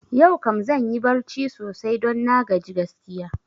Yau kam zanyi barci sosai don na gaji gaskiya